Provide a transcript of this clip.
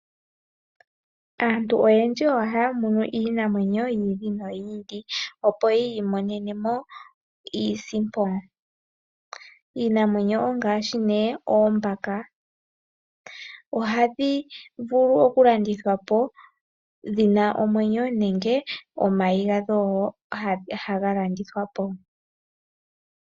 Aantu oyendji ohaya munu iinamwenyo yi ili noyi ili opo yi imonenemo Iisimpo .iinamwenyo ongaashi oombaka. Ohadhi vulu okulandithwapo dhina omwenyo nenge omayi gadho haga landithwapo.